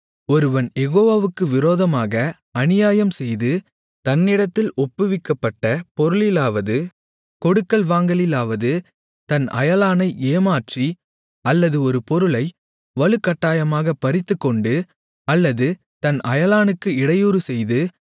ஒருவன் யெகோவாவுக்கு விரோதமாக அநியாயம் செய்து தன்னிடத்தில் ஒப்புவிக்கப்பட்ட பொருளிலாவது கொடுக்கல் வாங்கலிலாவது தன் அயலானை ஏமாற்றி அல்லது ஒரு பொருளை வலுக்கட்டாயமாகப் பறித்துக்கொண்டு அல்லது தன் அயலானுக்கு இடையூறுசெய்து